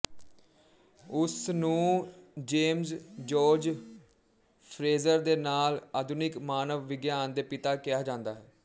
ਉਸ ਨੂੰ James George Frazer ਦੇ ਨਾਲ ਆਧੁਨਿਕ ਮਾਨਵ ਵਿਗਿਆਨ ਦੇ ਪਿਤਾ ਕਿਹਾ ਜਾਂਦਾ ਹੈ